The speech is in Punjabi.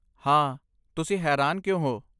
ਹਾਂ, ਤੁਸੀਂ ਹੈਰਾਨ ਕਿਉਂ ਹੋ?